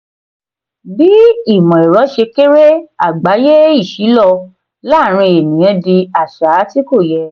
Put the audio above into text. bi imọ-ẹrọ ṣe kere agbaye iṣilọ laarin eniyan di aṣa ti ko yẹ.